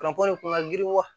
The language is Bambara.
kun ka girin wa